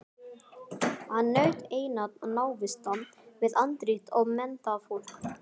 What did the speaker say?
Hann naut einatt návista við andríkt og menntað fólk.